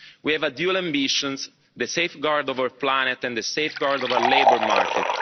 We have dual ambitions the safeguard of our planet and the safeguard of our labour market.